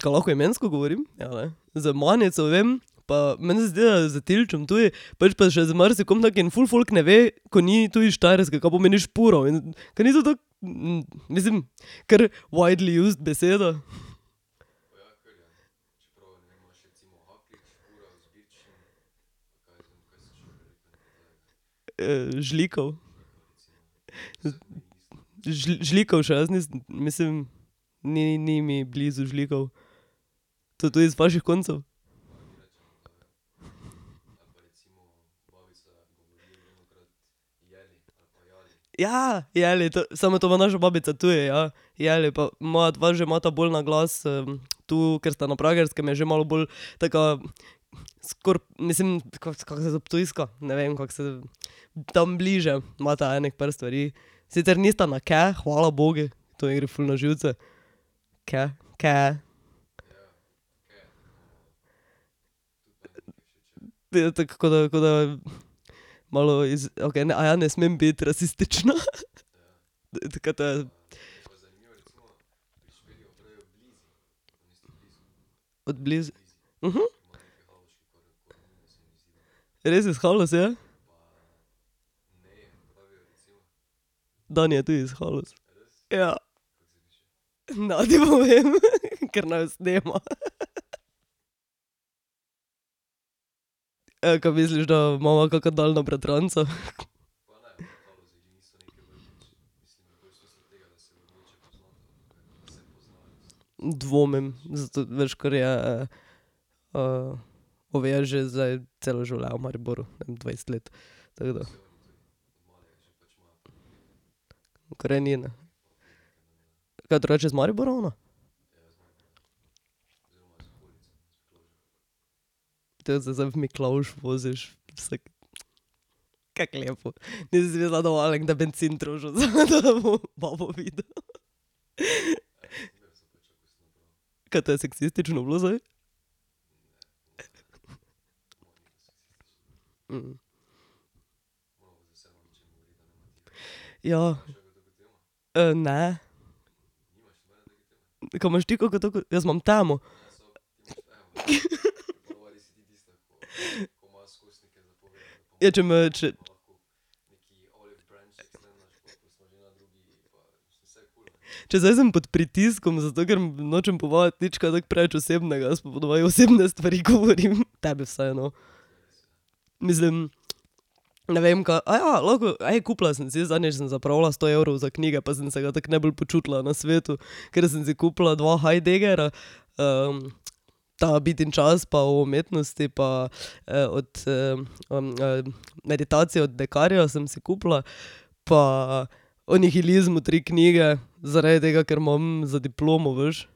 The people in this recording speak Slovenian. kaj lahko imensko govorim? Ja, ne? Z Manico, vem, pa meni se zdi, da s Tilčem tudi, pač pa še z marsikom takim in ful folk ne ve, ko ni tu iz Štajerske, ka pomeni špural in ... ka ni to tako mislim, kar, widely used beseda. žlikav. Žlikav še jaz nisem, mislim ni, ni mi blizu žlikav. To tudi iz vaših koncev? Ja, jeli, to, samo to ima naša babica tudi, ja. Jeli pa moja dva že imata bolj naglas, tu, ker sta na Pragerskem, je že malo bolj taka, skoraj mislim, kako kako je to ptujska, ne vem, kako se tam, bliže imata ene par stvari, sicer nista na kaj, hvala bogu, to mi gre ful na živce, ke, ke je. Ja tako, ko da, ko da malo iz, okej, ne, ne smem biti rasistična. Tako ke ta ... Od blizu. Res, iz Haloz je? Dani je tudi iz Haloz. Ja. Ne ti povem , ker naju snema. ka misliš, da imava kaka daljna bratranca? dvomim, zato veš, ker je, Bom jaz že zdaj celo življenje v Mariboru, ene dvajset let, tako da, korenina. Kaj drugače je iz Maribora ona? Tako da se zdaj v Miklavž voziš vsak ... Kako lepo, nisem si mislila, da bo Alen kdaj bencin trošil, zato da bo babo videl. Ka to je seksistično bilo zdaj? Ja. ne. Ka imaš ti kako tako, jaz imam temo. Ja, če me, če ... Če zdaj sem pod pritiskom, zato ker nočem povajati, nič kaj tako preveč osebnega. Jaz pa po navadi osebne stvari govorim. Tebi vsaj, no. Mislim, ne vem, ka, lahko, kupila sem si, zadnjič sem zapravila sto evrov za knjige, pa sem se ga tako najbolj počutila na svetu. Ker sem si kupila dva Heideggerja, ta Bit in čas, pa o umetnosti, pa, od, meditacije od Bekarja sem si kupila. Pa o nihilizmu tri knjige zaradi tega, ker imam za diplomo, veš.